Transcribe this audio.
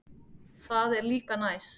Það er líka næs.